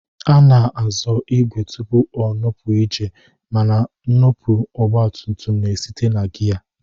A na-azọ ìgwè tupu o nupụ ije mana nnupụ ọgbatumtum na-esite na giya